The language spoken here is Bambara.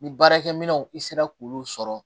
Ni baarakɛminɛnw i sera k'olu sɔrɔ